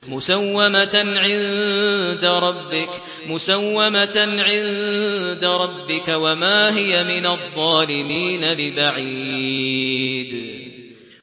مُّسَوَّمَةً عِندَ رَبِّكَ ۖ وَمَا هِيَ مِنَ الظَّالِمِينَ بِبَعِيدٍ